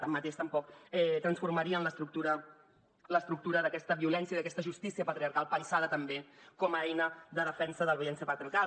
tanmateix tampoc transformarien l’estructura d’aquesta violència d’aquesta justícia patriarcal pensada també com a eina de defensa de la violència patriarcal